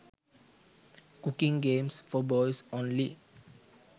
cooking games for boys only